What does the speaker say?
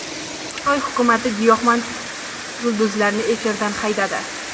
Xitoy hukumati giyohvand yulduzlarni efirdan haydadi.